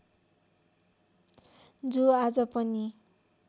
जो आज पनि